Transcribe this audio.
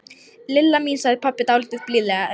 Lilla mín sagði pabbi dálítið blíðlegri.